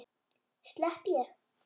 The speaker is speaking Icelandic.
Slepp ég?